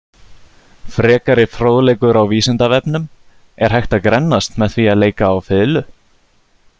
Frekari fróðleikur á Vísindavefnum: Er hægt að grennast með því að leika á fiðlu?